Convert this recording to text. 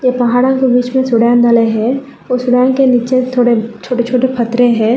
पहाड़ों के बीच में चढ़ेन डले हैं कुछ रोन के नीचे थोड़े छोटे छोटे पत्थरे हैं।